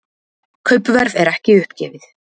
Kaupverð er ekki uppgefið.